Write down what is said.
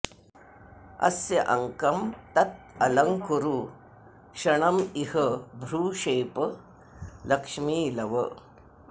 अस्य अंकम् तत् अलंकुरु क्षणम् इह भ्रू क्षेप लक्ष्मी लव